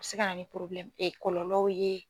A bɛ se ka na ni kɔlɔlɔw ye.